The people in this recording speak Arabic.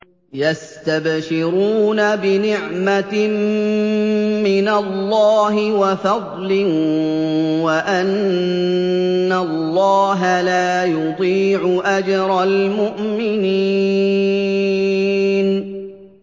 ۞ يَسْتَبْشِرُونَ بِنِعْمَةٍ مِّنَ اللَّهِ وَفَضْلٍ وَأَنَّ اللَّهَ لَا يُضِيعُ أَجْرَ الْمُؤْمِنِينَ